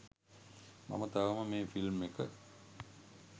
මම තවම මේ ෆිල්ම් එක